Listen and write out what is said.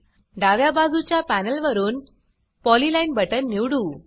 डाव्या बाजूच्या पॅनल वरुन पॉलीलाइन बटन निवडू